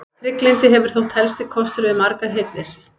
Trygglyndi hefur þótt helsti kostur við margar hirðir.